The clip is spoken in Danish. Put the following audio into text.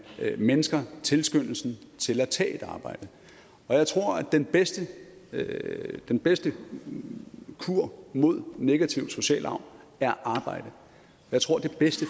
mindsker tilskyndelsen til at tage et arbejde og jeg tror at den bedste den bedste kur mod negativ social arv er arbejde jeg tror at det bedste